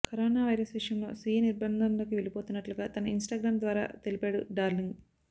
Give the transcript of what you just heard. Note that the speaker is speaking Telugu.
కరోనా వైరస్ విషయంలో స్వీయ నిర్భంధంలోకి వెళ్లిపోతున్నట్లుగా తన ఇన్స్టాగ్రమ్ ద్వారా తెలిపాడు డార్లింగ్